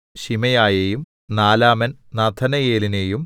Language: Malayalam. ശിമെയയേയും നാലാമൻ നഥനയേലിനെയും